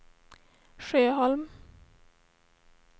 Sjöholm